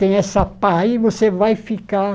Tem essa pá aí, você vai ficar